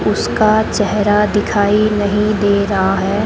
उसका चेहरा दिखाई नहीं दे रहा है।